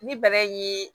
Ni bana ye